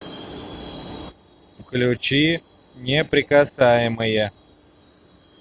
включи неприкасаемые